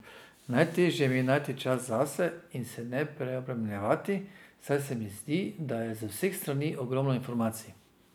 Najtežje mi je najti čas zase in se ne preobremenjevati, saj se mi zdi, da je z vseh strani ogromno informacij.